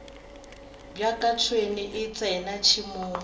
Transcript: bjaka tšhwene e tsena tšhemong